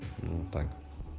ну так